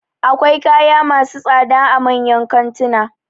Akwai kaya masu tsada a manyan kantuna